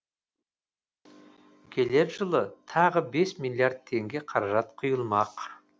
келер жылы тағы бес миллиард теңге қаражат құйылмақ